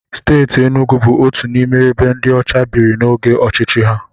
Steeti Enugwu bụ otu n'ime ebe ndị ọcha biri n'oge ọchịchị ha.